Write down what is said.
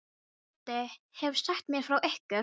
Doddi hefur sagt mér frá ykkur.